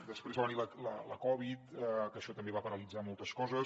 després va venir la covid que això també va paralitzar moltes coses